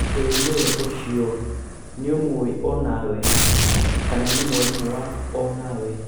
ĩĩ nĩwe ũcio!nĩũmũĩ o nawe? kana nĩ mwarimũ waku o nawe